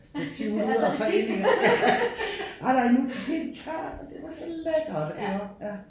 Stativ ud og så ind igen ja ej nej nu helt tørt og det var så lækker iggå ja